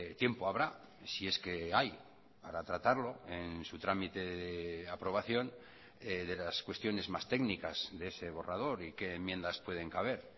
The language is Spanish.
tiempo habrá si es que hay para tratarlo en su trámite de aprobación de las cuestiones más técnicas de ese borrador y qué enmiendas pueden caber